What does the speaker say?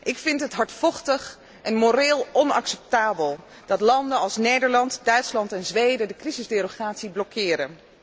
Ik vind het hardvochtig en moreel onacceptabel dat landen als Nederland, Duitsland en Zweden de crisisderogatie blokkeren.